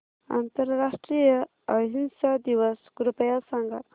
आंतरराष्ट्रीय अहिंसा दिवस कृपया सांगा